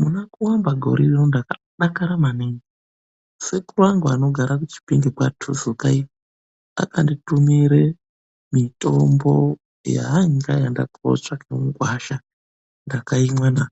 Muna kuamba gore rino ndakadakara maningi. Sekuru angu anogara kuChipinge kwaTuzuka iyo akanditumire mitombo yaanga aenda kootsvaka mugwasha. Ndakaimwa na!